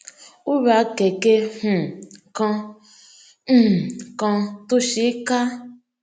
ó ra kèké um kan um kan tó ṣeé ká